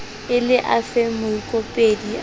e le afeng moikopedi a